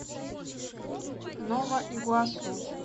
нова игуасу